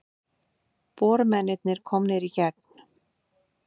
Bormennirnir komnir í gegn